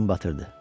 Gün batırdı.